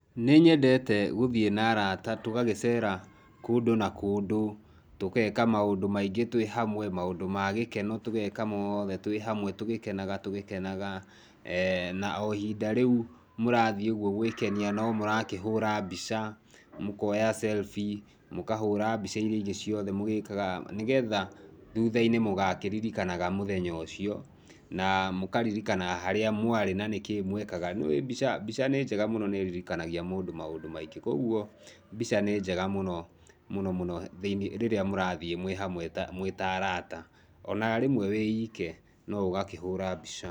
Nĩnyendete gũthiĩ na arata tũgagĩcera kũndũ na kũndũ, tũgeka maũndũ maingĩ twĩ hamwe, maũndũ ma gĩkeno tũgeka mothe twĩ hamwe tũgĩkenaga tũgĩkenaga, na ihinda o rĩu mũrathiĩ ũguo gwĩkenia no mũrakĩhũra mbica, mũkora selfie, mũkahũra mbica iria ingĩ ciothe mũgĩkaga, nĩgetha thutha-inĩ mũgakĩririkanaga mũthenya ũcio na mũkaririkanaga harĩa mwarĩ na nĩkĩ mwekaga. Nĩũĩ mbica nĩ njega mũno nĩ ĩririkanagia mũndũ maũndũ maingĩ. Kwoguo mbica nĩ njega mũno, mũno mũno rĩrĩa mũrathiĩ mwĩ hamwe, mwĩ ta arata ona rĩmwe wĩike no ũgakĩhũra mbica.